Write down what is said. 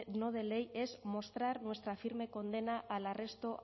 no de ley es mostrar nuestra firme condena al arresto